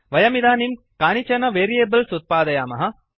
वयमिदानीं कानिचन वेरियेबल्स् उत्पादयामः